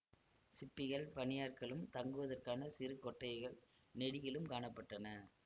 சிற்பிகள் பணியாட்களும் தங்குவதற்கான சிறு கொட்டகைகள் நெடுகிலும் காண பட்டன